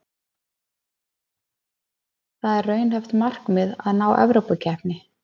Það er raunhæft markmið að ná Evrópukeppni.